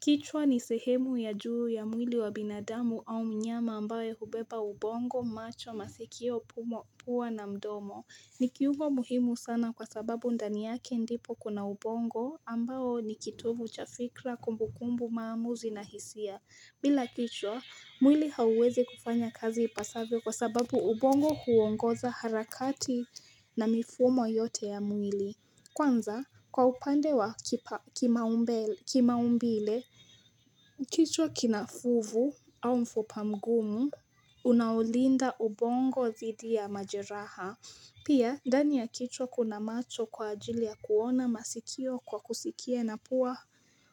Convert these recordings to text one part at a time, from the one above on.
Kichwa ni sehemu ya juu ya mwili wa binadamu au mnyama ambaye hubeba ubongo, macho, masikio, pua na mdomo. Ni kiungo muhimu sana kwa sababu ndani yake ndipo kuna ubongo ambao ni kitovu cha fikra kumbukumbu maamuzi na hisia. Bila kichwa, mwili hauwezi kufanya kazi ipasavyo kwa sababu ubongo huongoza harakati na mifumo yote ya mwili. Kwanza, kwa upande wa kimaumbile, kichwa kina fuvu au mfupa mgumu, unaolinda ubongo dhidi ya majeraha. Pia, ndani ya kichwa kuna macho kwa ajili ya kuona, masikio kwa kusikia na pua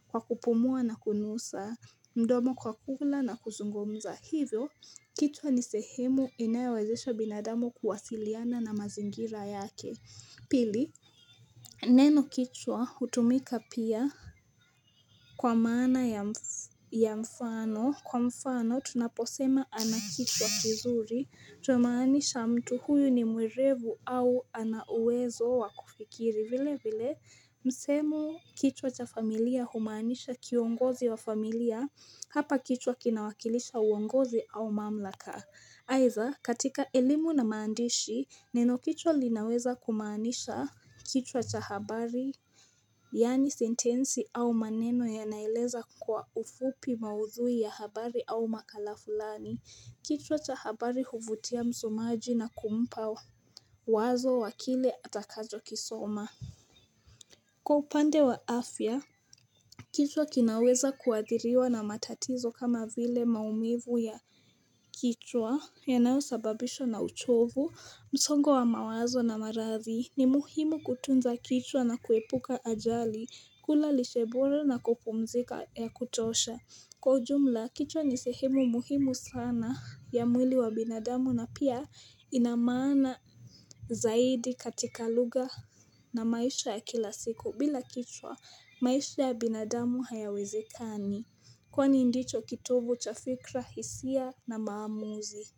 kwa kupumua na kunusa, mdomo kwa kula na kuzungumza. Hivyo, kichwa ni sehemu inaewezesha binadamu kuwasiliana na mazingira yake. Pili, neno kichwa hutumika pia kwa maana ya mfano. Kwa mfano, tunaposema anakichwa kizuri. Tuna maanisha mtu huyu ni mwerevu au ana uwezo wa kufikiri. Vile vile, msemo kichwa cha familia humanisha kiongozi wa familia. Hapa kichwa kinawakilisha uongozi au mamlaka. Aitha katika elimu na maandishi neno kichwa linaweza kumaanisha kichwa cha habari Yaani sentensi au maneno yanaeleza kwa ufupi maudhui ya habari au makala fulani kichwa cha habari huvutia msomaji na kumpa wazo wa kile atakacho kisoma Kwa upande wa afya kichwa kinaweza kuadhiriwa na matatizo kama vile maumivu ya kichwa yanayo sababishwa na uchovu, msongo wa mawazo na marathi. Ni muhimu kutunza kichwa na kuepuka ajali, kula lishebora na kupumzika ya kutosha. Kwa ujumla, kichwa ni sehemu muhimu sana ya mwili wa binadamu na pia inamaana zaidi katika lugha na maisha ya kila siku. Bila kichwa maisha ya binadamu hayawezekani Kwani ndicho kitovu cha fikra hisia na maamuzi.